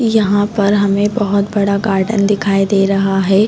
यहाँ पर हमे बहोत बड़ा गार्डन दिखाई दे रहा है।